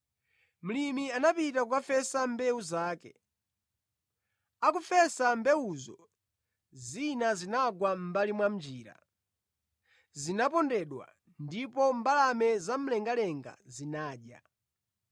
“Mlimi anapita kukafesa mbewu zake. Akufesa mbewuzo, zina zinagwa mʼmbali mwa njira; zinapondedwa, ndipo mbalame zamlengalenga zinadya.